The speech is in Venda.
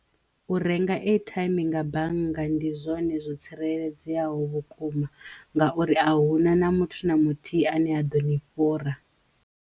U renga airtime nga bannga ndi zwone zwo tsireledzeyaho vhukuma nga uri a huna na muthu na muthihi a ne a ḓo ni fhura.